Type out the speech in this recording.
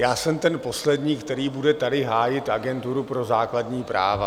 Já jsem ten poslední, který bude tady hájit Agenturu pro základní práva.